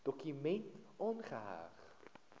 dokument aangeheg